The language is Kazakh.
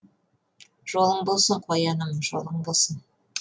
жолың болсын қояным жолың болсын